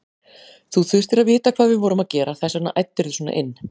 Þú þurftir að vita hvað við vorum að gera, þess vegna æddirðu svona inn.